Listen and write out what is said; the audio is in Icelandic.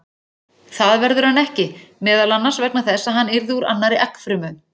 Það verður hann ekki, meðal annars vegna þess að hann yrði úr annarri eggfrumu.